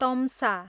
तम्सा